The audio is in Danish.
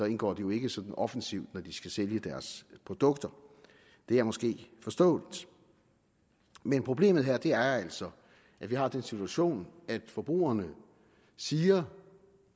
indgår det jo ikke sådan offensivt når de skal sælge deres produkter det er måske forståeligt men problemet her er altså at vi har den situation at forbrugerne siger